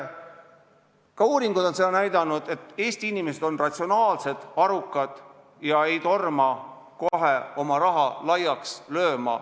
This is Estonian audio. Ka uuringud on näidanud, et Eesti inimesed on ratsionaalsed, arukad, ei torma kohe oma raha laiaks lööma.